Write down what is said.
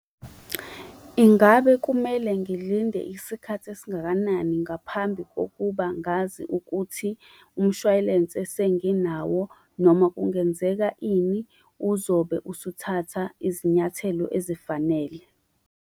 Ingabe kumele ngilinde isikhathi esingakanani ngaphambi kokuba ngazi ukuthi umshwalense senginawo noma kungenzeka ini uzobe usuthatha izinyathelo ezifanele?